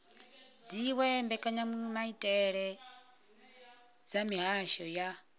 dziwe mbekanyamaitele dza mihasho ya